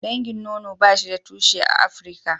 Dangin nono ba shi da tushe a Afrika.